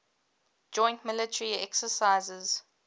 joint military exercises